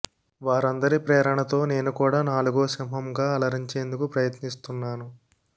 వారందరి ప్రేరణతో నేను కూడా నాలుగో సింహం గా అలరించేందుకు ప్రయత్నిస్తున్నాను